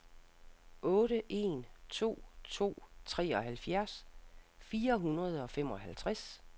otte en to to treoghalvfjerds fire hundrede og femoghalvtreds